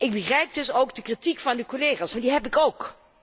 Ik begrijp dus ook de kritiek van de collega's, want die heb ik ook.